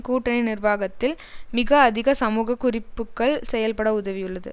கூட்டணி நிர்வாகத்தில் மிக அதிக சமூக குறிப்புக்கள் செயல்பட உதவியுள்ளது